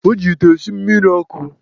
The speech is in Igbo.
O ji ite esi mmiri ọkụ.